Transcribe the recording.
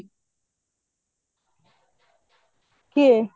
କିଏ